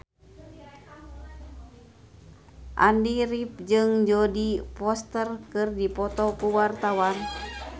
Andy rif jeung Jodie Foster keur dipoto ku wartawan